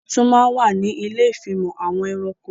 Wọn tún má ń wà ní ilé ìfimọ̀ àwọn ẹranko